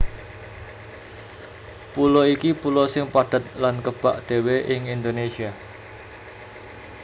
Pulo iki pulo sing padhet lan kebak dhéwé ing Indonésia